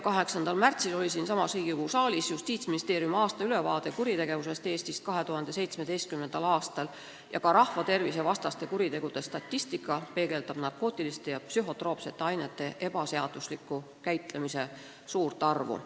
8. märtsil oli siinsamas Riigikogus saalis kõne all Justiitsministeeriumi aastaülevaade kuritegevusest Eestis 2017. aastal ning selgus, et rahvatervisevastaste kuritegude statistika peegeldab narkootiliste ja psühhotroopsete ainete ebaseadusliku käitlemise juhtumite suurt arvu.